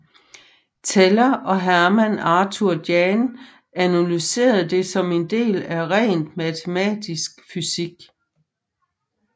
Teller og Hermann Arthur Jahn analyserede det som en del af rent matematisk fysik